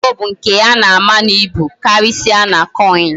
Ego bu nke ana ama na ibu, okarisia na coin